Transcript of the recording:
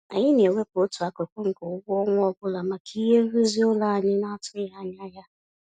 Anyị na-ewepụ otu akụkụ nke ụgwọ ọnwa ọbụla maka ihe nrụzi ụlọ anyị n'atụghị anya ya.